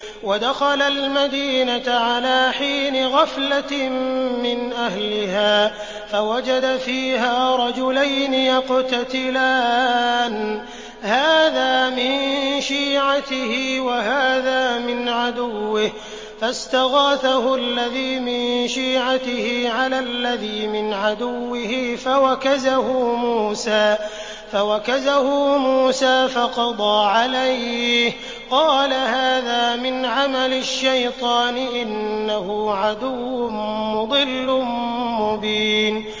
وَدَخَلَ الْمَدِينَةَ عَلَىٰ حِينِ غَفْلَةٍ مِّنْ أَهْلِهَا فَوَجَدَ فِيهَا رَجُلَيْنِ يَقْتَتِلَانِ هَٰذَا مِن شِيعَتِهِ وَهَٰذَا مِنْ عَدُوِّهِ ۖ فَاسْتَغَاثَهُ الَّذِي مِن شِيعَتِهِ عَلَى الَّذِي مِنْ عَدُوِّهِ فَوَكَزَهُ مُوسَىٰ فَقَضَىٰ عَلَيْهِ ۖ قَالَ هَٰذَا مِنْ عَمَلِ الشَّيْطَانِ ۖ إِنَّهُ عَدُوٌّ مُّضِلٌّ مُّبِينٌ